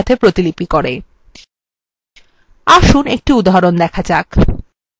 আসুন একটি উদাহরণ দেখা যাক